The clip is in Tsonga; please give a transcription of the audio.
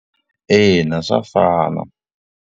Ina swa fana.